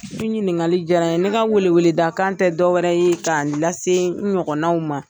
ɲininkali jara N ye ne ka wele wele da kan tɛ dɔwɛrɛ ye k'a lase n ɲɔgɔnanw ma.